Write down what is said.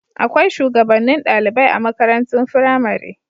Akwai shugabannin ɗalibai a makarantun firamare.